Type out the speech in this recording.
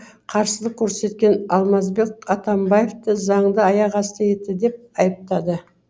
қарсылық көрсеткен алмазбек атамбаевты заңды аяқ асты етті деп айыптады